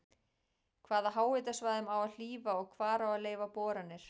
Hvaða háhitasvæðum á að hlífa og hvar á að leyfa boranir?